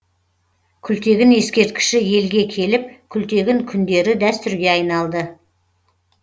күлтегін ескерткіші елге келіп күлтегін күндері дәстүрге айналды